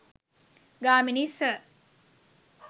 Gamini sir